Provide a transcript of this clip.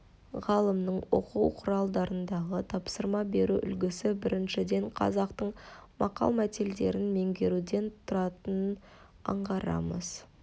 ғалымның оқу құралдарындағы тапсырма беру үлгісі біріншіден қазақтың мақалмәтелдерін меңгеруден тұратынын аңғарамыз